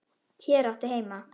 Hér áttu heima.